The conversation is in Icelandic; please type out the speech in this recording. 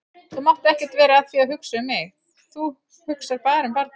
Þú mátt ekkert vera að því að hugsa um mig, þú hugsar bara um barnið.